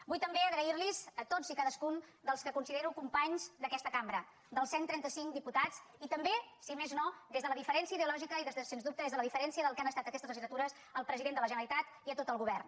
vull també donar les gràcies a tots i cadascun dels que considero companys d’aquesta cambra als cent i trenta cinc diputats i també si més no des de la diferència ideològica i sens dubte des de la diferència del que han estat aquestes legislatures al president de la generalitat i a tot el govern